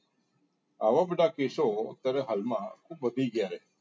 આવા બધા કેસો અત્યારે હાલ માં ખૂબ વધી ગયા‌ છે.